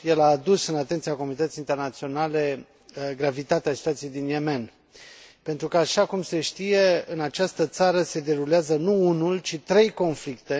el a adus în atenția comunității internaționale gravitatea situației din Yemen pentru că, așa cum se știe, în această țară se derulează nu unul, ci trei conflicte.